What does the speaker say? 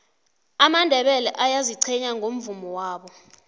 amandebele ayaziqhenya ngomvumo wabo